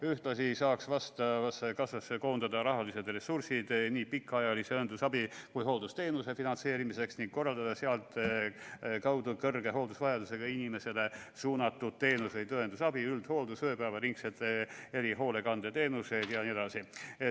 Ühtlasi saaks vastavasse kassasse koondada rahalised ressursid nii pikaajalise õendusabi kui ka hooldusteenuse finantseerimiseks ning korraldada sealtkaudu kõrge hooldusvajadusega inimestele suunatud teenuseid, nagu õendusabi, üldhooldus, ööpäevaringsed erihoolekandeteenused jne.